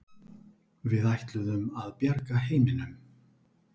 Við ætluðum að bjarga heiminum.